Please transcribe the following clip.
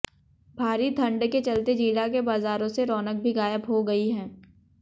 भारी ठंड के चलते जिला के बाजारों से रौनक भी गायब हो गई है